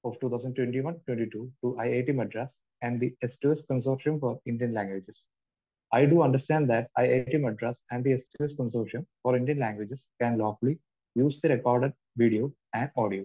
Of 2021-2022 to IIT Madras and the സ്‌2സ്‌ consortium for Indian languages. I do understand that IIT Madras and the consortium for Indian languages can lawfully use the record video and audio.